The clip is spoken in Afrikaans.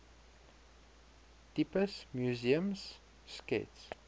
tipes museums skets